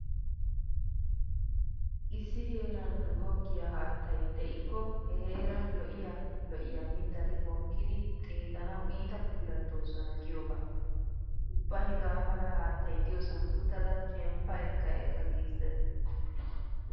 Issi heeran goggiya haatttay de'ikko he heeran lo'iya lo'iya mittati mokkidi xeellanawu iita puulattoosona giyogaa. Ubba hegaa mala haattay diyosn uttada shemppa ekka ekka giissees.